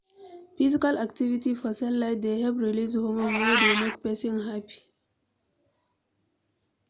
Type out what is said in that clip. Physical activity for sunlight dey help release homorne wey dey make person happy